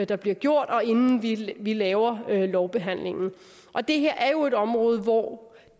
der bliver gjort og inden vi laver lovbehandlingen og det her er jo et område hvor